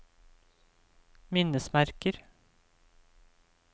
minnesmerker